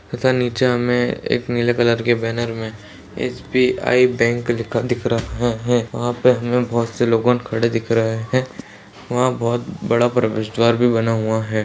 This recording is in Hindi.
तथा नीचे हमे एक नीले कलर के बैनर में एस.बी.आई. बैंक लिखा दिख रहा है वहां पे हमें बहुत से लोगों खड़े दिख रहे है वहां बहुत बड़ा प्रवेश द्वार भी बना हुआ है।